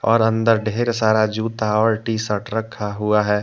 और अंदर ढेर सारा जूता और टीशर्ट रखा हुआ है।